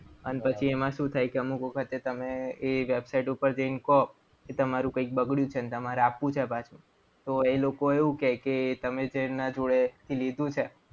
અને પછી એમાં શું થાય કે અમુક વખત તમે એ website ઉપર જઈને કો કે, તમારું કંઈક બગડ્યું છે અને તમારા આપવું છે પાછું. તો એ લોકો એવું કહે કે તમે જેના જોડે લીધું છે.